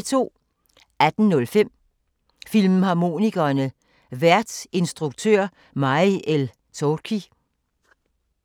18:05: Filmharmonikerne: Vært instruktør May el-Toukhy 02:03: Danmark Live *